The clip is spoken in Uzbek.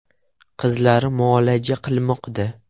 Qizlari muolaja qilmoqda.